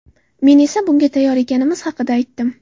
Men esa bunga tayyor ekanimiz haqida aytdim.